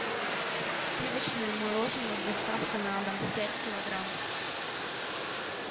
сливочное мороженое с доставкой на дом пять килограмм